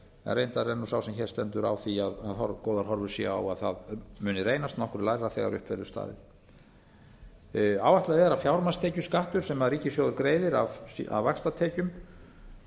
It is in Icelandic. reyndar er nú sá sem hér stendur á því að góðar horfur séu á að það muni reynast nokkru lægra þegar upp verður staðið áætlað er fjármagnstekjuskattur sem ríkissjóður greiðir af vaxtatekjum